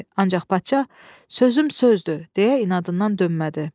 Ancaq padşah "Sözüm sözdür" deyə inadından dönmədi.